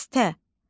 Dəstə.